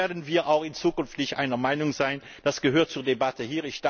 Da werden wir auch in Zukunft nicht einer Meinung sein, das gehört hier zur Debatte.